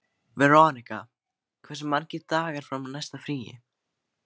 Veronika, hversu margir dagar fram að næsta fríi?